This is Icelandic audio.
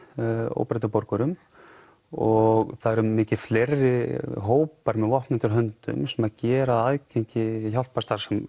óbreyttum borgurum og það eru mikið fleiri hópar með vopn undir höndum sem gera aðgengi